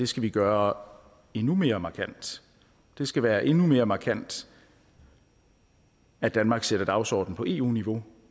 skal vi gøre endnu mere markant det skal være endnu mere markant at danmark sætter den dagsorden på eu niveau